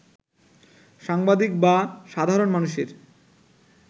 সাংবাদিক বা সাধারণ মানুষের